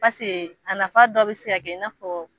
Paseke a nafa dɔ be se ka kɛ ini fɔ